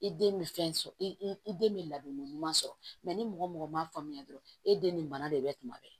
I den bɛ fɛn sɔrɔ i den bɛ ladonni ɲuman sɔrɔ ni mɔgɔ mɔgɔ ma faamuya dɔrɔn e den nin bana de bɛ tuma bɛɛ